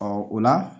o la